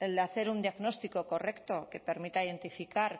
el hacer un diagnóstico correcto que permita identificar